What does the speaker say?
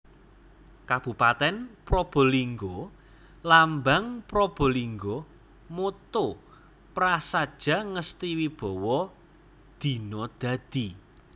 Kabupatèn PrabalinggaLambang PrabalinggaMotto Prasadja Ngesti Wibawa Dina Dadi